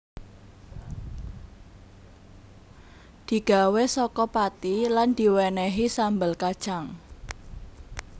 Digawé saka pati lan diwenehi sambel kacang